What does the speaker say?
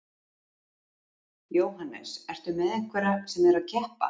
Jóhannes: Ertu með einhverja sem eru að keppa?